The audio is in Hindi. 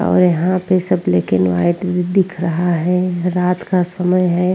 और यहाँ पे सब ब्लैक एंड व्हाइट दिख रहा है रात का समय है।